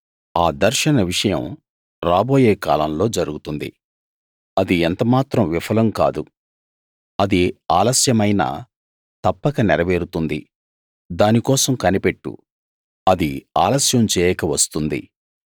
ఆ దర్శన విషయం రాబోయే కాలంలో జరుగుతుంది అది ఎంత మాత్రం విఫలం కాదు అది ఆలస్యమైనా తప్పక నెరవేరుతుంది దాని కోసం కనిపెట్టు అది ఆలస్యం చేయక వస్తుంది